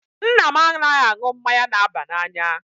Nna m anaghị aṅụ mmanya na-aba n'anya.